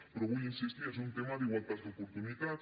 però hi vull insistir és un tema d’igualtat d’oportunitats